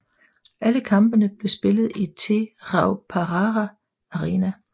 Alle kampene blev spillet i Te Rauparaha Arena